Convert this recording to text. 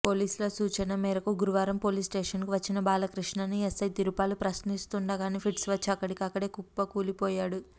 పోలీసుల సూచన మేరకు గురువారం పోలీసుస్టేషన్కు వచ్చిన బాలకృష్ణను ఎస్ఐ తిరుపాలు ప్రశ్నిస్తుండగానే ఫిట్స్ వచ్చి అక్కడే కుప్పకూలి పోయాడు